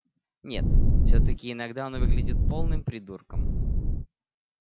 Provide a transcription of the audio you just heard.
нет всё-таки иногда он выглядит полным придурком